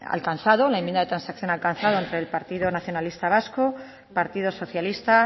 alcanzado la enmienda de transacción alcanzada entre el partido nacionalista vasco partido socialista